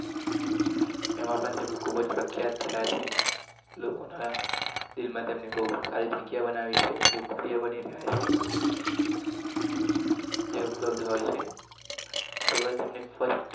એમાં પણ ખૂબ જ સંખ્યા